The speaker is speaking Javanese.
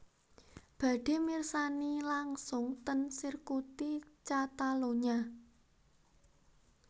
Badhe mirsani langsung ten sirkuti Catalunya